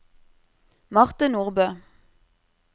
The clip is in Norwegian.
Marte Nordbø